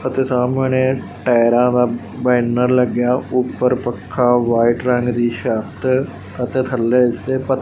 ਅਤੇ ਸਾਹਮਣੇ ਟਾਇਰਾਂ ਦਾ ਬੈਨਰ ਲੱਗਿਆ ਉਪਰ ਪੱਖਾ ਵਾਈਟ ਰੰਗ ਦੀ ਛੱਤ ਅਤੇ ਥੱਲੇ ਤੇ--